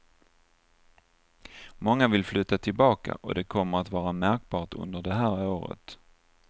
Många vill flytta tillbaka och det kommer att vara märkbart under det här året.